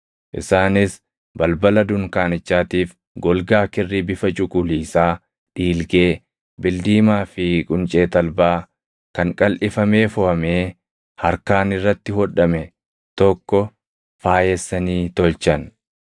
Isaanis balbala dunkaanichaatiif golgaa kirrii bifa cuquliisaa, dhiilgee, bildiimaa fi quncee talbaa kan qalʼifamee foʼamee harkaan irratti hodhame tokko faayessanii tolchan.